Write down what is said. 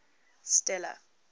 stella